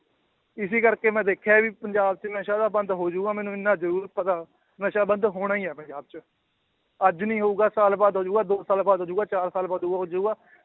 ਇਸੇ ਕਰਕੇ ਮੈਂ ਦੇਖਿਆ ਵੀ ਪੰਜਾਬ 'ਚ ਨਸ਼ਾ ਤਾਂ ਬੰਦ ਹੋ ਜਾਊਗਾ ਮੈਨੂੰ ਇੰਨਾ ਜ਼ਰੂਰ ਪਤਾ, ਨਸ਼ਾ ਬੰਦ ਹੋਣਾ ਹੀ ਹੈ ਪੰਜਾਬ 'ਚ, ਅੱਜ ਨੀ ਹੋਊਗਾ ਸਾਲ ਬਾਅਦ ਹੋ ਜਾਊਗਾ ਦੋ ਕੁ ਸਾਲ ਬਾਅਦ ਹੋ ਜਾਊਗਾ ਚਾਰ ਸਾਲ ਬਾਅਦ ਹੋ ਜਾਊਗਾ।